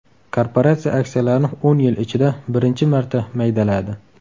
Korporatsiya aksiyalarni o‘n yil ichida birinchi marta maydaladi.